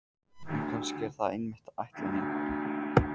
En kannski er það einmitt ætlunin.